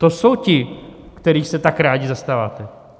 To jsou ti, kterých se tak rádi zastáváte.